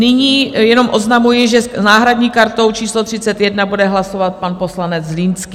Nyní jenom oznamuji, že s náhradní kartou číslo 31 bude hlasovat pan poslanec Zlínský.